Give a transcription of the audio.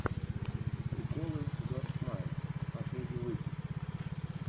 приколы йоур смайл последний выпуск